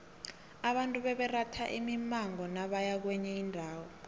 abantu bebaratha imimango nabaya kwenye indawo